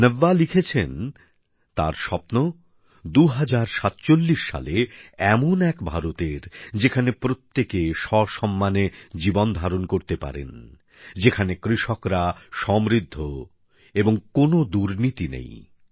নব্যা লিখেছেন তার স্বপ্ন ২০৪৭ সালে এমন এক ভারত যেখানে প্রত্যেকে সসম্মানে জীবন ধারণ করতে পারেন যেখানে কৃষকরা সমৃদ্ধ এবং কোন দুর্নীতি নেই